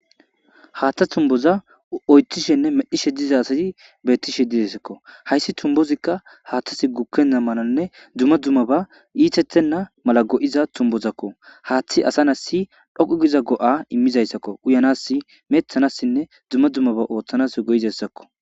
Haaththa tuboza oyiththishenne medhishshe diza asay beetteshe desikko hayssi tubozikka haththezi gukena mallanne dumma dummabba itetena maala gi'iza tumbozakko haththi asa nas dhoqu gida go'a imizassakko uyanassi metanass dumma dummaba oththanas go'izaysako